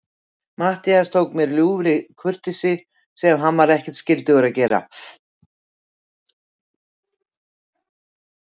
Matthías tók mér af ljúfri kurteisi, sem hann var ekkert skyldugur að gera.